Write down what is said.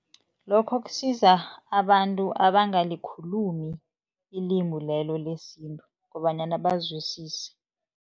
Lokho kusiza abantu abangalikhulumi ilimi lelo lesintu kobanyana bazwisise.